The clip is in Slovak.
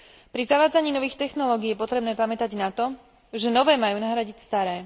Pri zavádzaní nových technológií je potrebné pamätať na to, že nové majú nahradiť staré.